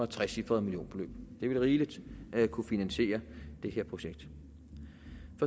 trecifret millionbeløb det vil rigeligt kunne finansiere det her projekt